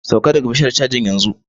Sauka daga bishiyar cajun yanzu!